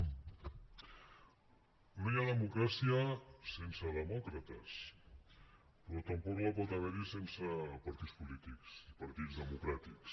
no hi ha democràcia sense demòcrates però tampoc pot haver n’hi sense partits polítics i partits democràtics